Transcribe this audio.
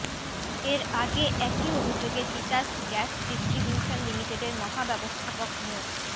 এর আগে একই অভিযোগে তিতাস গ্যাস ডিস্ট্রিবিউশন লিমিটেডের মহাব্যবস্থাপক মো